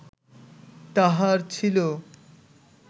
তাঁহার ছিল